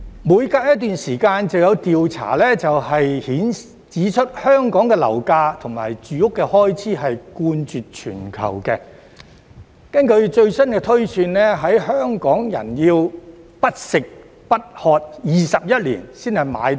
每隔一段時間就有調查指出，香港的樓價或住屋開支冠絕全球，根據最新的推算，香港人要不吃不喝21年才買到樓。